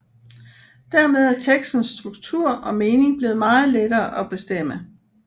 Dermed er tekstens struktur og mening blevet meget lettere at bestemme